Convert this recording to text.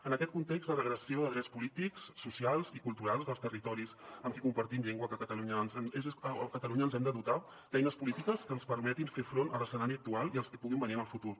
en aquest context de regressió de drets polítics socials i culturals dels territoris amb qui compartim llengua a catalunya ens hem de dotar d’eines polítiques que ens permetin fer front a l’escenari actual i als que puguin venir en el futur